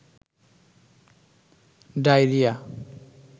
diarrhoea